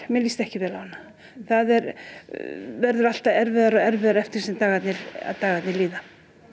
mér líst ekki vel á hana það verður alltaf erfiðara og erfiðara eftir því sem dagarnir dagarnir líða